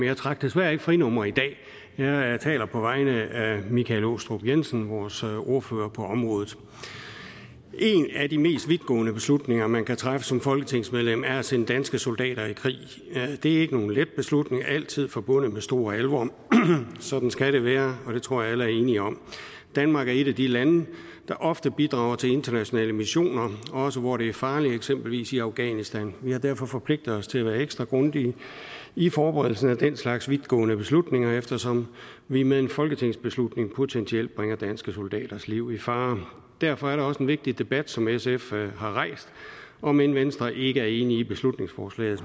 jeg trak desværre ikke frinummer i dag jeg taler på vegne af herre michael aastrup jensen vores ordfører på området en af de mest vidtgående beslutninger man kan træffe som folketingsmedlem er at sende danske soldater i krig det er ikke nogen let beslutning og altid forbundet med stor alvor sådan skal det være og det tror jeg at alle er enige om danmark er et af de lande der ofte bidrager til internationale missioner også hvor det er farligt eksempelvis i afghanistan vi har derfor forpligtet os til at være ekstra grundige i forberedelsen af den slags vidtgående beslutninger eftersom vi med en folketingsbeslutning potentielt bringer danske soldaters liv i fare derfor er det også en vigtig debat som sf har rejst om end venstre ikke er enig i beslutningsforslaget